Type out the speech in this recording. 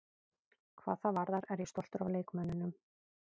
Hvað það varðar er ég stoltur af leikmönnunum.